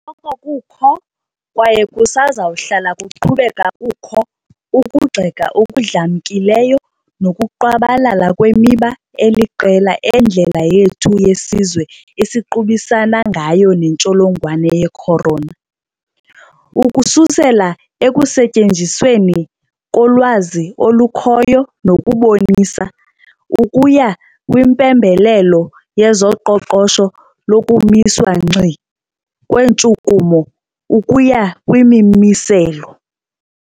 Bekusoloko kukho, kwaye kusezakuhlala kuqhubeka kukho, ukugxeka okudlamkileyo nokungqwabalala kwemiba eliqela endlela yethu yesizwe esiqubisana ngayo nentsholongwane ye-corona, ukususela ekusetyenzisweni kolwazi olukhoyo nokubonisa, ukuya kwimpembelelo yezoqoqosho lokumiswa ngxi kweentshukumo, ukuya kwimimiselo.